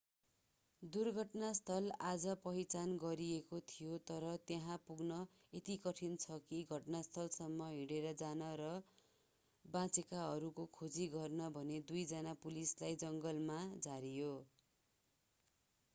दुर्घटना स्थल आज पहिचान गरिएको थियो तर त्यहाँ पुग्न यति कठिन छ कि घटनास्थलसम्म हिँडेर जान र बचेकाहरूको खोजी गर्न भनेर दुई जना पुलिसलाई जङ्गलमा झारियो